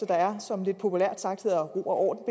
der er og som lidt populært sagt hedder ro og